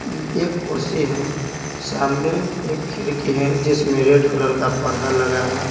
एक कुर्सी है सामने एक खिड़की है जिसमें रेड कलर का पर्दा लगा हुआ है।